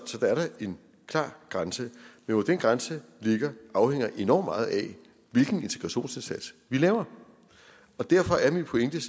så der er da en klar grænse men hvor den grænse ligger afhænger enormt meget af hvilken integrationsindsats vi laver og derfor er min pointe